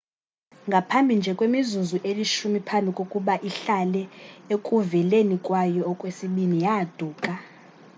ngaphambi nje kwemizuzu elishumi phambi kokuba ihlale ekuveleni kwayo okwesibini yaaduka